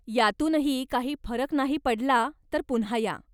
यातूनही काही फरक नाही पडला, तर पुन्हा या.